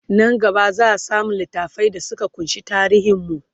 Nan gaba zaa samu littafai da Suka kunshi tarihin mu